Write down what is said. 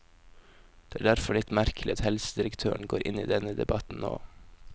Det er derfor litt merkelig at helsedirektøren går inn i denne debatten nå.